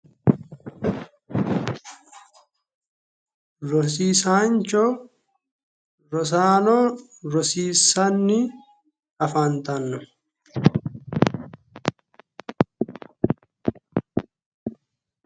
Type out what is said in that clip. Rosiisaancho rosaano rosiissanni afantanno